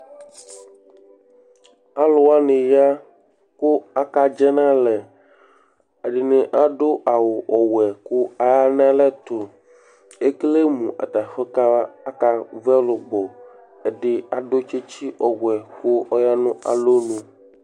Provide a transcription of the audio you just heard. Alʋ wanɩ ya kʋ akadzɛ nʋ alɛ Ɛdɩnɩ adʋ awʋ ɔwɛ kʋ aya nʋ alɛ tʋ Ekele mʋ ata afʋ ka akavu ɛlʋbɔ Ɛdɩ adʋ tsɩtsɩ ɔwɛ kʋ ɔya nʋ alɔnu